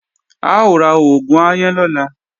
A ó ra oògùn aáyán lọ́la